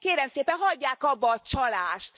Kérem szépen, hagyják abba a csalást!